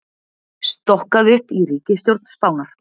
Stokkað upp í ríkisstjórn Spánar